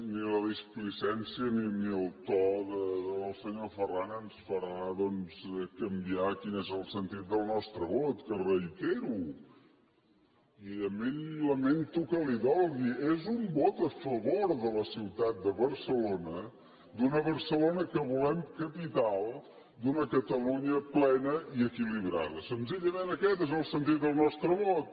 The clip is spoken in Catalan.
ni la displicència ni el to del senyor ferran ens faran canviar quin és el sentit del nostre vot que reitero i lamento que li dolgui és un vot a favor de la ciutat de barcelona d’una barcelona que volem capital d’una catalunya plena i equilibrada senzillament aquest és el sentit del nostre vot